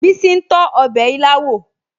Bísí ń tọ́ ọbẹ̀ ilá wò